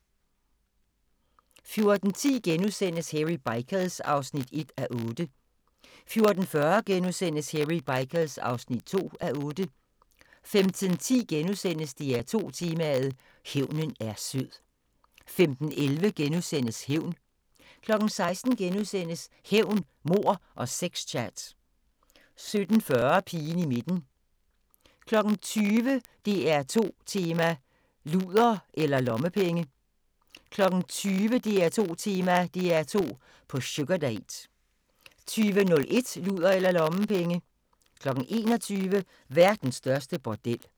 14:10: Hairy Bikers (1:8)* 14:40: Hairy Bikers (2:8)* 15:10: DR2 Tema: Hævnen er sød * 15:11: Hævn * 16:00: Hævn, mord og sex-chat * 17:40: Pigen i midten 20:00: DR2 Tema: Luder eller Lommepenge? 20:00: DR2 Tema: DR2 på sugardate 20:01: Luder eller lommepenge 21:00: Verdens største bordel